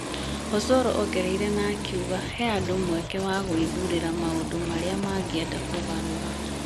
Osoro ongereire na akiuga, he andũ mweke wa gwĩthurĩra maũndũ marĩa mangĩenda kũgarũra